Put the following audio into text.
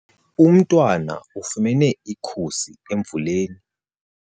Umntwana ufumene ikhusi emvuleni.